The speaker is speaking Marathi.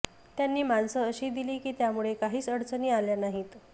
त्यांनी माणसं अशी दिली की त्यामुळे काहीच अडचणी आल्या नाहीत